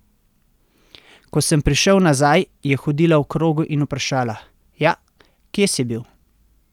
Ko sem prišel nazaj, je hodila v krogu in vprašala: 'Ja, kje si bil?